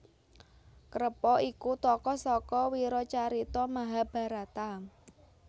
Krepa iku tokoh saka wiracarita Mahabharata